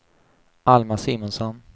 Alma Simonsson